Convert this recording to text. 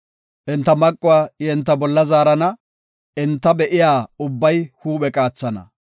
Enta maquwa I enta bolla zaarana; enta be7iya ubbay huuphe qaathana.